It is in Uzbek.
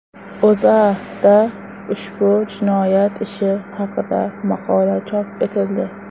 O‘zAda ushbu jinoyat ishi haqida maqola chop etildi .